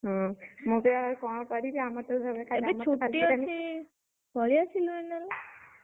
ହୁଁ, ମୁଁ ବି ଏବେ କଣ କରିବି? ଆମର ତ ଘରେ ଏବେ ଛୁଟି ଅଛି, ଏବେ ଛୁଟି ଅଛି ପଳେଇଆସିଲୁନି!